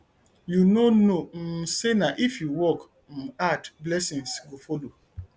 you no know um say na if you work um hard blessing go follow